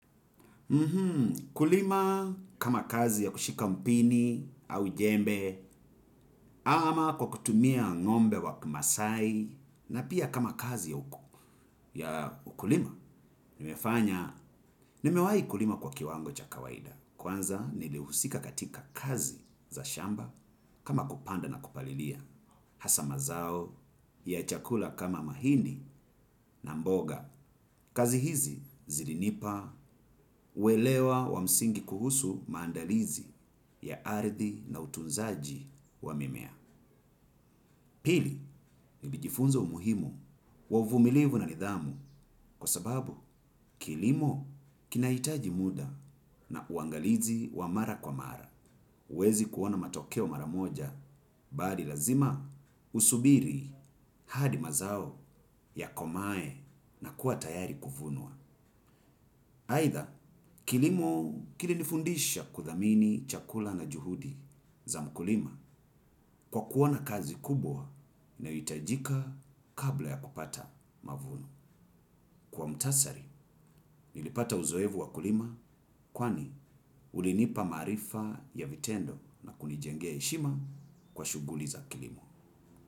Kulima kama kazi ya kushika mpini au jembe, ama kwa kutumia ng'ombe wa kimasaai, na pia kama kazi ya ukulima. Nimefanya, nimewahi kulima kwa kiwango cha kawaida. Kwanza, nilihusika katika kazi za shamba kama kupanda na kupalilia. Hasa mazao ya chakula kama mahindi na mboga. Kazi hizi zilinipa, uelewa wa msingi kuhusu maandalizi. Ya ardhi na utunzaji wa mimea. Pili, nilijifunza umuhimu wa uvumilivu na nidhamu. Kwa sababu, kilimo kinahitaji muda na uangalizi wa mara kwa mara. Huwezi kuona matokeo mara moja. Bali lazima, usubiri hadi mazao yakomae na kuwa tayari kuvunwa Either, kilimo kilinifundisha kuthamini chakula na juhudi za mkulima kwa kuwa na kazi kubwa inayohitajika kabla ya kupata mavuno. Kwa muhtasari, nilipata uzoefu wa kulima kwani ulinipa maarifa ya vitendo na kunijengea heshima kwa shughuli za kilimo.